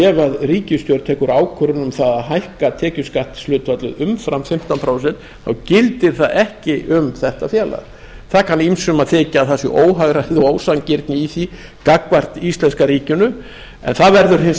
ef ríkisstjórn tekur ákvörðun um það að hækka tekjuskattshlutfallið umfram fimmtán prósent þá gildir það ekki um þetta félag það kann ýmsum að þykja að það sé ósanngirni í því gagnvart íslenska ríkinu en það verður hins vegar